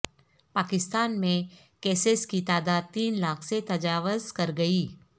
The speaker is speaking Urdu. پاکستان میں کیسز کی تعداد تین لاکھ سے تجاوز کر گئی